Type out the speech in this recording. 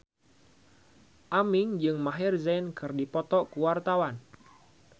Aming jeung Maher Zein keur dipoto ku wartawan